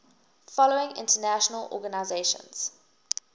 following international organizations